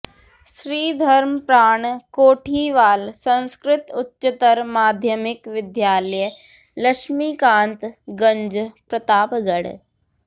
Shri Dharmpran Kothiwal Sanskrit Uchchatar Madhyamik Vidyalaya Laxmikantganj Pratapgarh